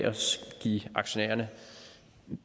give aktionærerne